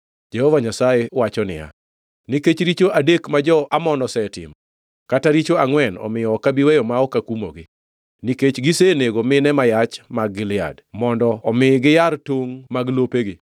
Jehova Nyasaye wacho niya, “Nikech richo adek ma jo-Amon osetimo, kata richo angʼwen, omiyo ok abi weyo ma ok akumogi. Nikech gisenego mine ma yach mag Gilead mondo omi giyar tongʼ mag lopegi,